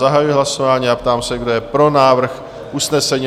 Zahajuji hlasování a ptám se, kdo je pro návrh usnesení?